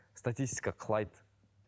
статистика құлайды